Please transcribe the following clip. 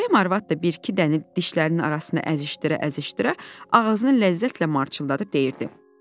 Bəyim arvad da bir-iki dənə dişlərinin arasına əzişdirə-əzişdirə, ağzını ləzzətlə marçıldadıb deyirdi.